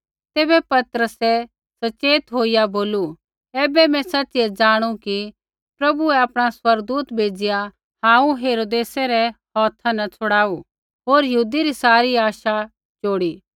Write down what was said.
तैबै पतरसै सच़ेत होईया बोलू ऐबै मैं सच़िऐ ज़ाणू कि प्रभुऐ आपणा स्वर्गदूत भेज़िआ हांऊँ हेरोदेसै रै हौथा न छुड़ाऊ होर यहूदी री सारी आशा चोड़ी